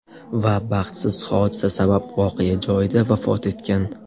Va baxtsiz hodisa sabab voqea joyida vafot etgan .